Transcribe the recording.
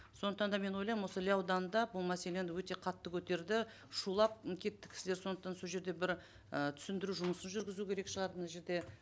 сондықтан да мен ойлаймын осы іле ауданында бұл мәселені өте қатты көтерді шулап м кетті кісілер сондықтан сол жерде бір і түсіндіру жұмысын жүргізу керек шығар мына жерде